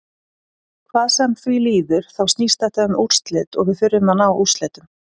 Hvað sem því líður þá snýst þetta um úrslit og við þurfum að ná úrslitum.